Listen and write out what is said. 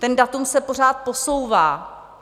To datum se pořád posouvá.